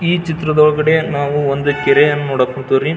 ಈ ಚಿತ್ರದೊಳಗಡೆ ನಾವು ಒಂದು ಕೆರೆಯನ್ನು ನೋಡಬಹುದ್ ರೀ.